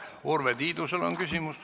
Urve Tiidusel on küsimus.